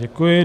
Děkuji.